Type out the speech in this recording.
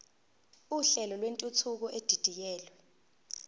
uhlelo lwentuthuko edidiyelwe